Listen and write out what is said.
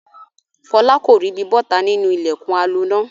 Fọlá kò ríbi bọ́ta nínú ilẹ̀kùn aloná.